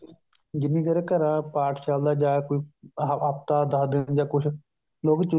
ਜਿੰਨੀ ਦੇਰ ਘਰਾਂ ਪਾਠ ਚੱਲਦਾ ਜਾ ਕੋਈ ਹਫਤਾ ਦਸ ਦਿੰਨ ਜਾਂ ਕੁੱਝ ਤੇ ਉਹ ਵੀ ਚੁੱਲਾ